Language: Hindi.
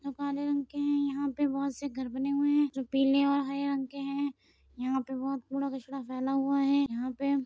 जो काले रंग के हैं यहाँ पे बहुत से घर बने हुए हैं जो पीले और हरे रंग के हैं। यहाँ पर बहुत कूड़ा कचड़ा फैला हुआ है यहाँ पे --